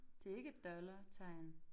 Det ikke et dollartegn